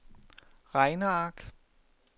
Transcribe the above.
regneark